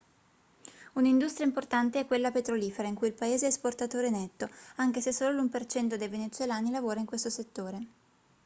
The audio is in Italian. un'industria importante è quella petrolifera in cui il paese è esportatore netto anche se solo l'1% dei venezuelani lavora in questo settore